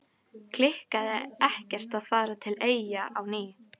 Kitlaði ekkert að fara til Eyja á ný?